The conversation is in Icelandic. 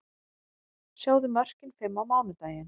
Sjáðu mörkin fimm á mánudaginn: